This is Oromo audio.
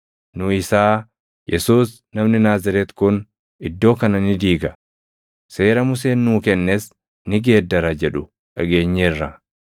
Nu isaa, ‘Yesuus namni Naazreeti kun iddoo kana ni diiga; seera Museen nuu kennes ni geeddara’ jedhu dhageenyeerra.”